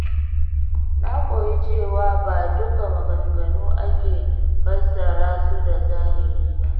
Na koyi cewa ba duka maganganu ake fassara su da zahiri ba.